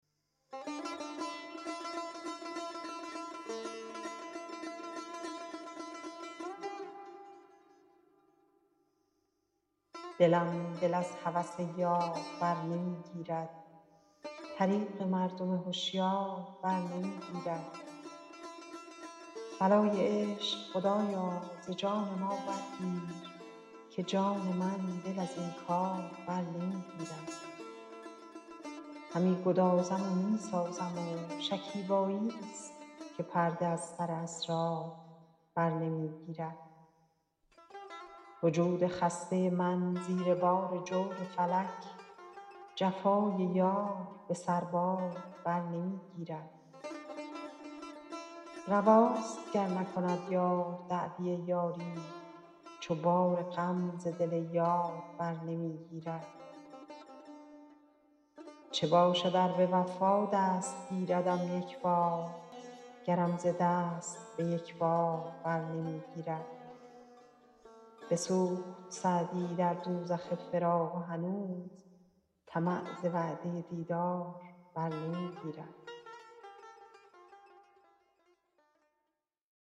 دلم دل از هوس یار بر نمی گیرد طریق مردم هشیار بر نمی گیرد بلای عشق خدایا ز جان ما برگیر که جان من دل از این کار بر نمی گیرد همی گدازم و می سازم و شکیباییست که پرده از سر اسرار بر نمی گیرد وجود خسته من زیر بار جور فلک جفای یار به سربار بر نمی گیرد رواست گر نکند یار دعوی یاری چو بار غم ز دل یار بر نمی گیرد چه باشد ار به وفا دست گیردم یک بار گرم ز دست به یک بار بر نمی گیرد بسوخت سعدی در دوزخ فراق و هنوز طمع ز وعده دیدار بر نمی گیرد